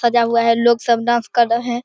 सजा हुआ है लोग सब डांस कर रहे है।